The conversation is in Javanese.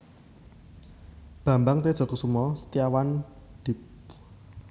Bambang Tedjasukmana Setiawan Dipl